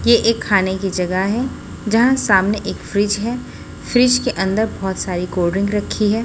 ये एक खाने की जगह है। जहाँ सामने एक फ्रिज है। फ्रिज के अंदर बहोत सारी कोल्ड ड्रिंक रखी है।